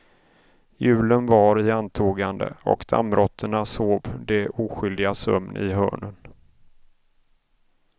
Julen var i antågande och dammråttorna sov de oskyldigas sömn i hörnen.